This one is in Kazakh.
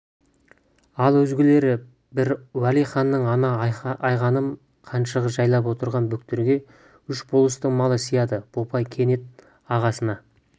ал өзгелері бір уәли ханның ана айғаным қаншығы жайлап отырған бөктерге үш болыстың малы сыяды бопай кенет ағасына